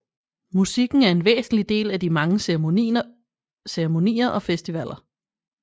Musikken er en væsentlig del af de mange ceremonier og festivaler